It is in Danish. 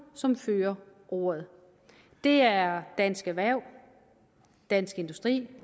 som fører ordet det er dansk erhverv dansk industri